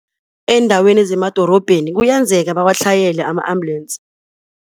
Eendaweni zemadorobheni kuyenzeka bawatlhayele ama-ambulensi.